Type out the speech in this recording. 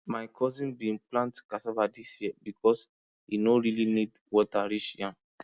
my cousin bin plant cassava this year because e no really need water reach yam